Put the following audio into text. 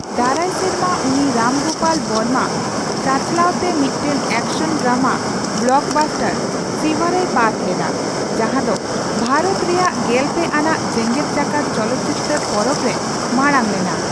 ᱫᱟᱨᱟᱭ ᱥᱮᱨᱢᱟ, ᱩᱱᱤ ᱨᱟᱢ ᱜᱳᱯᱟᱞ ᱵᱚᱨᱢᱟ ᱪᱟᱼᱪᱟᱞᱟᱣ ᱛᱮ ᱢᱤᱫᱴᱟᱝ ᱮᱠᱥᱚᱱ ᱰᱟᱨᱢᱟ ᱵᱚᱞᱚᱠᱵᱟᱥᱴᱟᱨ ᱥᱤᱵᱷᱟ ᱨᱮᱭ ᱯᱟᱴᱷ ᱞᱮᱫᱟᱭ, ᱡᱟᱸᱦᱟ ᱫᱚ ᱵᱷᱟᱨᱚᱛ ᱨᱮᱭᱟᱜ ᱜᱮᱞᱯᱮ ᱟᱱᱟᱜ ᱡᱮᱜᱮᱫ ᱡᱟᱠᱟᱛ ᱪᱚᱞᱚᱠᱪᱤᱛᱟᱹᱨ ᱯᱚᱨᱚᱵᱽᱨᱮ ᱢᱟᱲᱟᱝ ᱞᱮᱱᱟ ᱾